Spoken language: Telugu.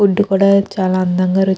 ఫుడ్ కూడా చాలా అందంగా రు --